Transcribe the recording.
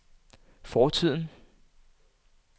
fortiden